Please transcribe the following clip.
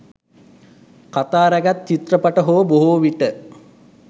කතා රැගත් චිත්‍රපට හෝ බොහෝ විට